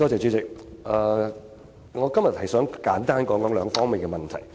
主席，我今天想簡單談兩方面的問題。